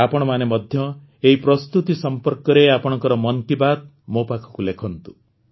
ଆପଣମାନେ ମଧ୍ୟ ଏହି ପ୍ରସ୍ତୁତି ସମ୍ପର୍କରେ ଆପଣଙ୍କର ମନ୍ କି ବାତ୍ ମୋ ପାଖକୁ ଲେଖନ୍ତୁ